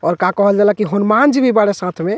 और का कहल जाला की हनुमान जी भी बाड़े साथ में।